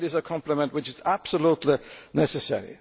It is a complement which is absolutely necessary.